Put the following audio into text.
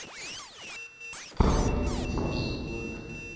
phambili kufuze bona